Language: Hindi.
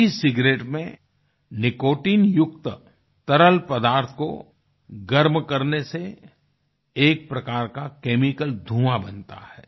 एसिगेरेट में निकोटाइन युक्त तरल पदार्थ को गर्म करने से एक प्रकार का केमिकल धुंआ बनता है